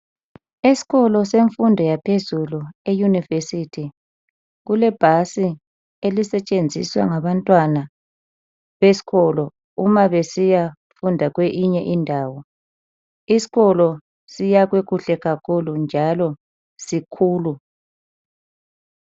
Eskolo senfundo yaphezulu e university kulebhasi elisetshenziswa ngabantwana beskolo ,uma besiyafunda kweyinye indawo .Iskolo siyakhwe kuhle kakhulu njalo sikhulu.